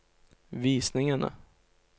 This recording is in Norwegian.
visningene